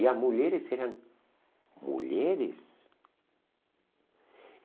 E as mulheres eram mulheres.